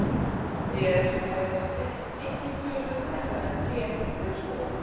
Tré regnskógarins eru einnig töluvert hærri en tré laufskóganna.